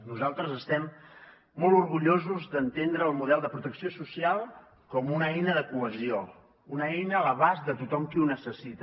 nosaltres estem molt orgullosos d’entendre el model de protecció social com una eina de cohesió una eina a l’abast de tothom qui ho necessita